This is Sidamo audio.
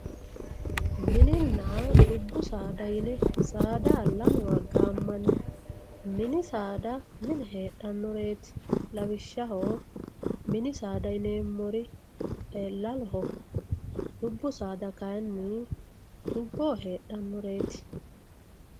Mininna dubbu saada yine saada lamewa gaamanni, mini saada mine heedhanoreeti lawishaho mini saada yineemori lalloho dubbu saada kayinni dubboho heedhanoreeti